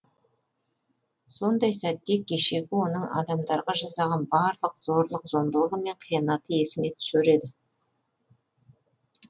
сондай сәтте кешегі оның адамдарға жасаған барлық зорлық зомбылығы мен қиянаты есіңе түсер еді